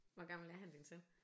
Hvor gammel er han din søn?